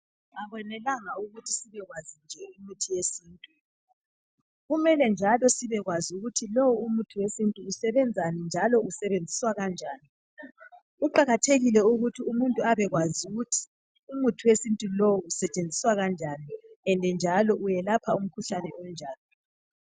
Akwenelanga ukuthi sibekwazi nje imithi yesintu .Kumele njalo sibekwazi ukuthi lowu umuthi wesintu usebenzani njalo usebenziswa kanjani Kuqakathekile ukuthi umuntu abekwazi ukuthi umuthi wesintu lowu usetshenziswa kanjani and njalo welapha umkhuhlane onjani